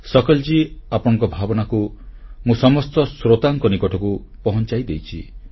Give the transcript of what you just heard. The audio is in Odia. ଶକଲ୍ ଜୀ ଆପଣଙ୍କ ଭାବନାକୁ ମୁଁ ସମସ୍ତ ଶ୍ରୋତାଙ୍କ ନିକଟକୁ ପହଂଚାଇ ଦେଇଛି